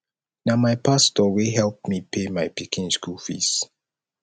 na my pastor wey help me pay my pikin school fees